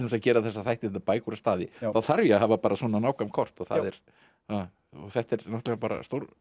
að gera þessa þætti bækur og staði þá þarf ég að hafa svona nákvæm kort þetta er náttúrulega bara